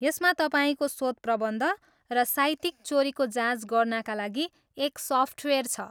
यसमा तपाईँको शोधप्रबन्ध र साहित्यिक चोरीको जाँच गर्नाका लागि एक सफ्टवेयर छ।